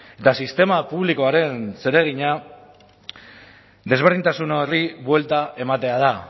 eta sistema publikoaren zeregina desberdintasun horri buelta ematea da